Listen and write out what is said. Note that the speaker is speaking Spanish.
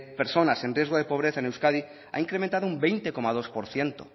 personas en riesgo de pobreza en euskadi ha incrementado un veinte coma dos por ciento